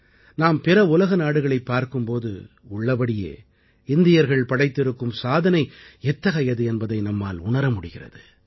நாம் பிற உலக நாடுகளைப் பார்க்கும் போது உள்ளபடியே இந்தியர்கள் படைத்திருக்கும் சாதனை எத்தகையது என்பதை நம்மால் உணர முடிகிறது